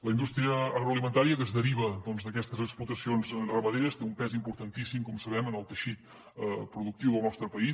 la indústria agroalimentària que es deriva doncs d’aquestes explotacions ramaderes té un pes importantíssim com sabem en el teixit productiu del nostre país